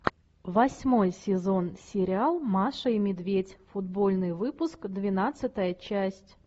восьмой сезон сериал маша и медведь футбольный выпуск двенадцатая часть